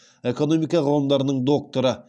экономика ғылымдарының докторы